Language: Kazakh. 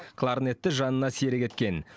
кларнетті жанына серік еткен